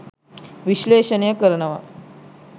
විශ්ලේෂණය කරනවා.